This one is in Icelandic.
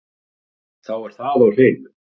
Þá er það á hreinu